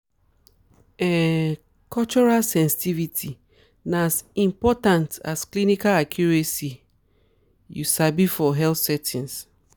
um cultural sensitivity na as important as clinical accuracy you um sabi for healthcare settings.